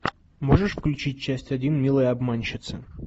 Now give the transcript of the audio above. можешь включить часть один милые обманщицы